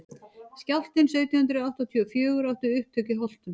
skjálftinn sautján hundrað áttatíu og fjögur átti upptök í holtum